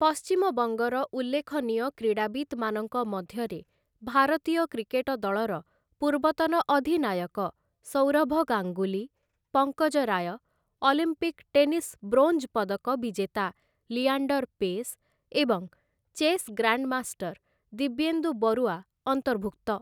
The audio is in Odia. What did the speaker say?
ପଶ୍ଚିମବଙ୍ଗର ଉଲ୍ଲେଖନୀୟ କ୍ରୀଡ଼ାବିତ୍‌ମାନଙ୍କ ମଧ୍ୟରେ, ଭାରତୀୟ କ୍ରିକେଟ ଦଳର ପୂର୍ବତନ ଅଧିନାୟକ Sourav Ganguly, Pankaj Roy, Olympic tennis bronze ପଦକ ବିଜେତା ଲିଆଣ୍ଡର ପେସ୍, ଏବଂ ଚେସ୍ ଗ୍ରାଣ୍ଡମାଷ୍ଟର ଦିବ୍ୟେନ୍ଦୁ ବରୁଆ ଅନ୍ତର୍ଭୁକ୍ତ ।